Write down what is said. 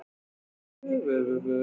Sunna: Hvað með eldsupptök?